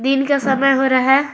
दिन का समय हो रहा है।